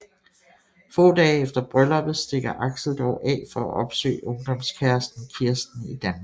Få dage efter brylluppet stikker Axel dog af for at opsøge ungdomskæresten Kirsten i Danmark